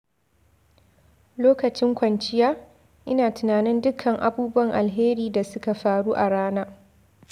Lokacin kwanciya, ina tunanin dukkan abubuwan alheri da suka faru a rana.